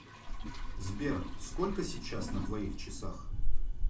сбер сколько сейчас на твоих часах